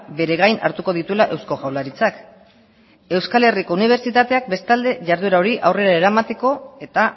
bere gain hartuko dituela eusko jaurlaritzak euskal herriko unibertsitateak bestalde jarduera hori aurrera eramateko eta